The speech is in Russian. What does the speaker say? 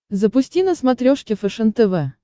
запусти на смотрешке фэшен тв